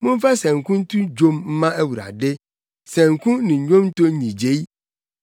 Momfa sanku nto dwom mma Awurade, sanku ne nnwonto nnyigyei,